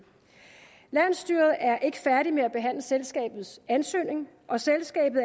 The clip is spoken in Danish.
landsstyret er ikke færdig med at behandle selskabets ansøgning og selskabet